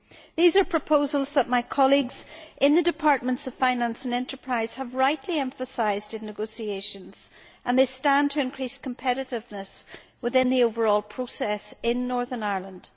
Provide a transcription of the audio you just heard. These are proposals that my colleagues in the departments of finance and enterprise have rightly emphasised in negotiations, and they stand to increase competitiveness within the overall process in Northern Ireland.